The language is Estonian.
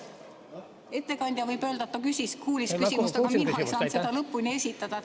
Ettekandja võib öelda, et ta kuulis küsimust, aga mina ei saanud seda lõpuni esitada.